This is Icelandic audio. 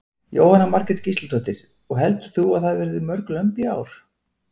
Jóhanna Margrét Gísladóttir: Og heldur þú að það verði mörg lömb í ár?